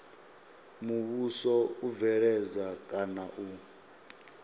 muvhuso u bveledza kana u